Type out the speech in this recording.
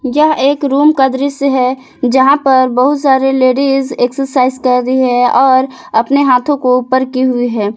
यह एक रूम का दृश्य है जहां पर बहुत सारी लेडीज एक्सरसाइज कर रही हैं और अपने हाथों को ऊपर की हुई हैं।